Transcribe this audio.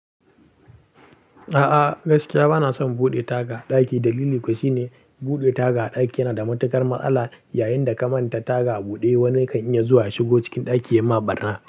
A'a, gaskiya ba na son buɗe taga a ɗaki. Dalili kuwa shine buɗe taga a ɗaki yana da matuƙar matsala. Yayinda ka manta taga a buɗe, wani kan iya zuwa ya shigo cikin ɗaki ya ma barna.